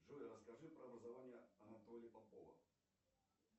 джой расскажи про образование анатолия попова